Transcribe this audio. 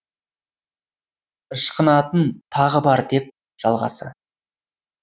ышқынатын тағы бар деп жалғасы